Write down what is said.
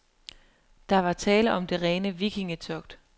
Der var tale om det rene vikingetogt.